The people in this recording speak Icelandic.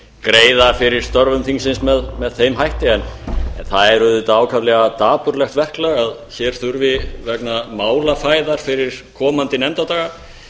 greiða fyrir störfum þingsins með þeim hætti en það er ákaflega dapurlegt verklag að hér þurfi vegna málafæðar fyrir komandi nefndadaga